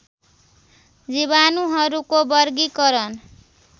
जीवाणुहरूको वर्गीकरण